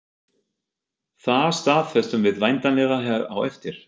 Það staðfestum við væntanlega hér á eftir?